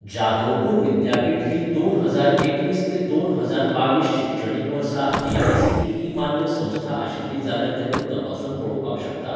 जादवपूर विद्यापीठ ही दोन हजार एकवीस ते दोन हजार बावीस शिक्षणीक वर्सा एआयसीटीई मान्य संस्था आशिल्ली जाल्यार तें तूं तपासून पळोवपाक शकता?